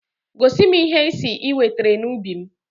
Gosi m ihe ị sị ị wetere n'ubi m!